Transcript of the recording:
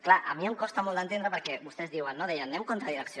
clar a mi em costa molt d’entendre perquè vostès diuen no deien anem contra direcció